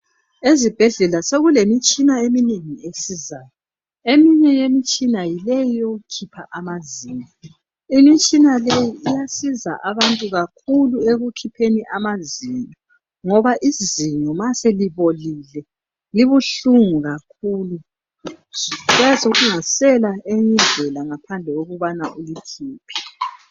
Ezibhedlela sekulemitshina eminengi esizayo. Eminye emitshina yileyi eyokukhipha amazinyo. Imitshina leyi iyasiza abantu kakhulu ekukhipheni amazinyo ngoba izinyo ma selibolile libuhlungu kakhulu, kuyabe kungasela eyinye indlela ngaphandle kokubana ulikhiphe.